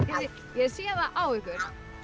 ég sé það á ykkur